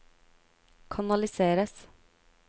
kanaliseres